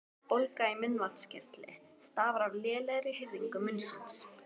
Bólga í munnvatnskirtli stafar af lélegri hirðingu munnsins.